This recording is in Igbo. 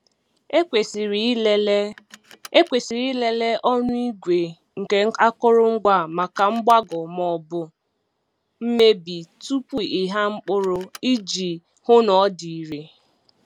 Ekwesịrị ịlele Ekwesịrị ịlele ọnụ igwe nke akụrụngwa a maka mgbagọ maọbụ mebie tupu ịgha mkpụrụ iji hụ na ọ dị irè.